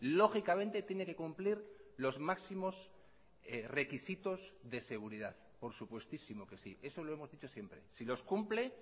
lógicamente tiene que cumplir los máximos requisitos de seguridad por supuestísimo que sí eso lo hemos dicho siempre si los cumple